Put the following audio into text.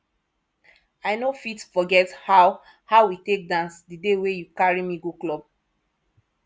i no fit forget how how we take dance di day wey you carry me go club